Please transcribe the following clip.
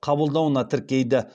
қабылдауына тіркейді